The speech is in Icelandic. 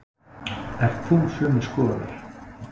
Ert þú sömu skoðunar?